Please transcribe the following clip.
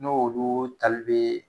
N'o olu tali bɛ